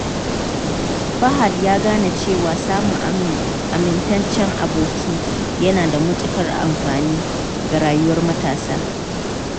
Fahad ya gano cewa samun amintaccen aboki yana da matukar amfani ga rayuwar matasa.